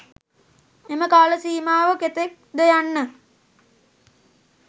එම කාල සීමාව කෙතෙක් ද යන්න